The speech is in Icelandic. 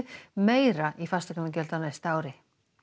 meira í fasteignagjöld á næsta ári